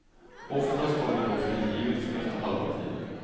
Oftast har de då frigivits efter halva tiden.